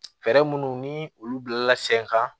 Fɛɛrɛ munnu ni olu bilala sen kan